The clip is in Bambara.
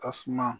A suma